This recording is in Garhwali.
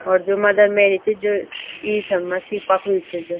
और जो मदर मेरी च जो ईसामसी पखडयूँ च जो।